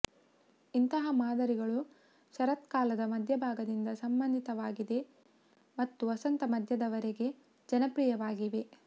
ಇಂತಹ ಮಾದರಿಗಳು ಶರತ್ಕಾಲದ ಮಧ್ಯಭಾಗದಿಂದ ಸಂಬಂಧಿತವಾಗಿವೆ ಮತ್ತು ವಸಂತ ಮಧ್ಯದವರೆಗೆ ಜನಪ್ರಿಯವಾಗಿವೆ